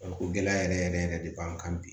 Farikolo gɛlɛya yɛrɛ yɛrɛ de b'an kan bi